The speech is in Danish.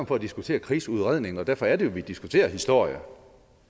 for at diskutere krigsudredningen og derfor er det jo vi diskuterer historie